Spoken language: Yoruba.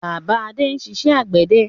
Bàbá Adé ń ṣiṣẹ́ àgbẹ̀dẹ